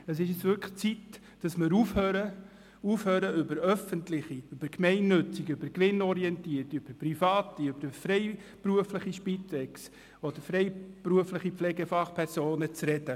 Es ist nun wirklich an der Zeit, dass wir aufhören, über öffentliche, über gemeinnützige, über gewinnorientierte, über private, über freiberufliche Spitex oder freiberufliche Pflegefachpersonen zu sprechen.